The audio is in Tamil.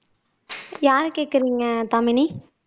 யார கேக்குறீங்க தாமினி